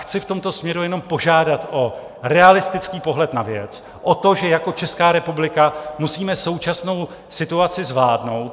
Chci v tomto směru jenom požádat o realistický pohled na věc, o to, že jak Česká republika musíme současnou situaci zvládnout.